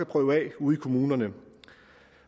prøve af ude i kommunerne